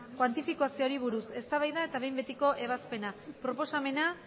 kuantifikazioari buruz eztabaida eta behin betiko ebazpena proposamena